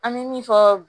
An bɛ min fɔ